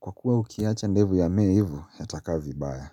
kwa kuwa ukiacha ndevu yamee ivo, yatakaa vibaya.